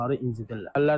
azərbaycanlıları incidirər.